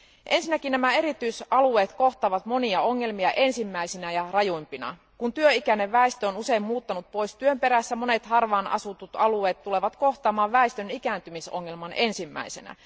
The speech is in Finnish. Ensinnäkin nämä erityisalueet kohtaavat monia ongelmia ensimmäisinä ja rajuimpina. Kun työikäinen väestö on usein muuttanut pois työn perässä, monet harvaan asutut alueet tulevat kohtaamaan väestön ikääntymisongelman ensimmäisenä.